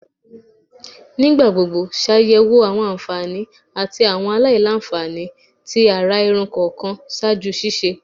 Nigbagbogbo ṣayẹwo awọn anfani ati awọn alailanfani ti ara irun kọọkan ṣaaju ṣiṣe